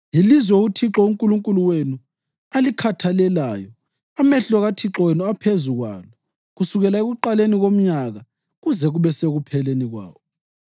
Yilizwe uThixo uNkulunkulu wenu alikhathalelayo, amehlo kaThixo wenu aphezu kwalo kusukela ekuqaleni komnyaka kuze kube sekupheleni kwawo.